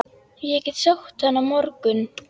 Ég get sótt hann á morgun.